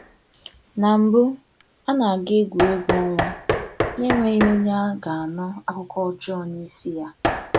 Na mbụ a na-aga egwuregwu ọnwa n’enweghi onye a ga-anụ akụkọ ọjọọ n’isi ya.